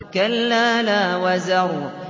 كَلَّا لَا وَزَرَ